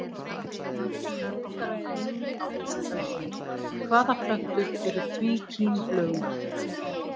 Frekara lesefni á Vísindavefnum: Hvaða plöntur eru tvíkímblöðungar?